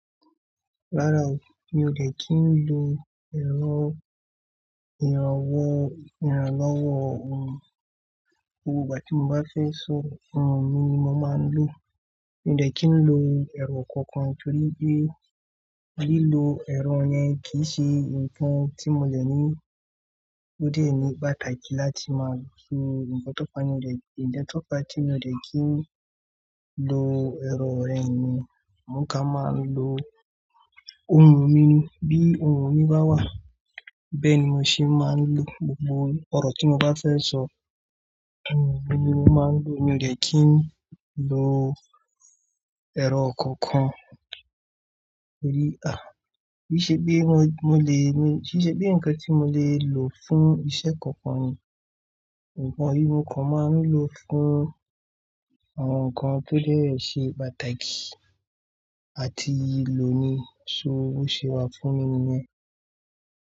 Rárá o, mi ò dẹ̀ kí n lo ẹ̀rọ ìrànlọ́wọ́ ohùn, gbogbo ìgbà tí mo bá fẹ́ sọ ohùn mi ni mo máa ń lò. Mi ò dẹ̀ kí n lo ẹ̀rọ kankan torí pé lílo ẹ̀rọ yẹn kì í ṣe nǹkan tí mo lè ní òde ní pàtàkì láti máa sọ nǹkan tó pa mi, ìdẹ́tọ́ka tí mo dẹ̀ kí n lo ẹ̀rọ rẹ̀ ni mo ká máa ń lo ohùn mi. Bí ohùn mi bá wà, bẹ́ẹ̀ ni mo ṣe máa ń lò gbogbo ọ̀rọ̀ tí mo bá fẹ́ sọ, ohùn mi ni mo máa ń lò. Mi ò dẹ̀ kí n lo ẹ̀rọ kankan torí, à bí i ṣe bí mo lè ní, bí i ṣe bí nǹkan tí mo lè lò fún iṣẹ́ kankan ni nǹkan mímu kan máa ń lò fún àwọn nǹkan tó sẹ́ẹ̀ṣe pàtàkì àti lòní so owó ṣe wá fún mi nìyẹn.